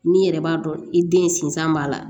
Min yɛrɛ b'a dɔn i den sinzan b'a la